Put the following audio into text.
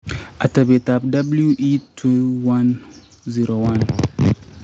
atebeetap WE2101: